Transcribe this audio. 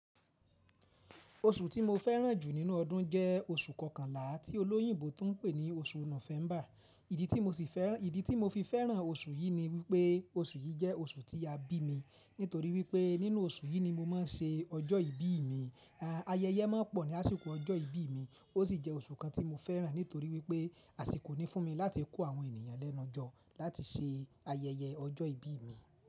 Oṣù tí mo fẹ́ràn jù nínú ọdún jẹ́ oṣù kọkànlá tí olóyìnbo tún ń pè ní oṣù Nòfẹ̀ḿbà. Ìdí tí mo fi fẹ́ràn oṣù yìí ni wípé oṣù yìí jẹ́ oṣù tí a bí mi. Nítorí wípé nínú oṣù yìí ni mo máa ń ṣe ọjọ́ ìbí mi. Ayẹyẹ mọ pọ̀ ní àsìkò ọjọ́ ìbí mi. Ó sì jẹ́ oṣù kan tí mo fẹ́ràn nítorí wípé àsìkò ní fún mi láti kó àwọn ènìyàn lẹ́nu jọ láti ṣe ayẹyẹ ọjọ́ ìbí mi.